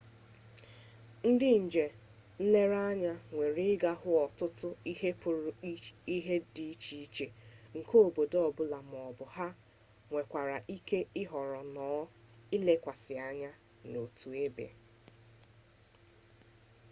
ndi nje-nlere-anya nwere iga hu otutu ihe putara ihe di iche-iche nke obodo obula maobu ha nwerekwara ike ihoro nnoo ilekwasi anya n'otu ebe